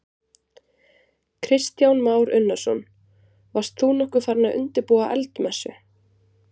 Kristján Már Unnarsson: Varst þú nokkuð farinn að undirbúa eldmessu?